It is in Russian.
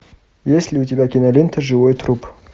есть ли у тебя кинолента живой труп